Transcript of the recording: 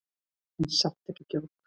En samt ekki djók.